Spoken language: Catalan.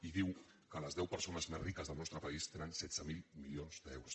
i diu que les deu persones més riques del nostre país tenen setze mil milions d’euros